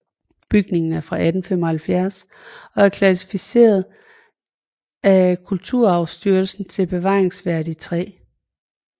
Bygningen er fra 1875 og er klassificeret af Kulturarvsstyrelsen til bevaringsværdi 3